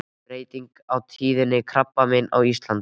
Breytingar á tíðni krabbameina á Íslandi.